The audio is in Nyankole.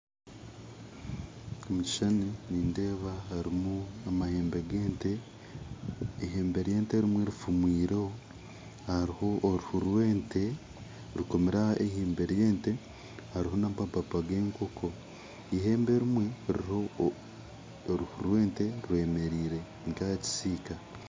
Omu kishuushani nindeeba harimu amahembe g'ente eihembe ry'ente erimwe rifumwireho hariho oruhuu rw'ente rukomirwe aha ihembe ry'ente hariho n'amapaapa g'ekoonko ihembe erimwe riruho oruhuu rw'ente ryemereire nka aha kisiika